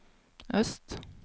øst